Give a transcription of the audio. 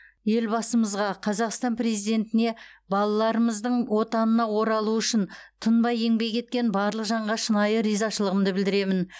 елбасымызға қазақстан президентіне балаларымыздың отанына оралуы үшін тыңбай еңбек еткен барлық жанға шынайы ризашылығымды білдіремін